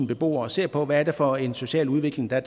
beboere og ser på hvad det er for en social udvikling der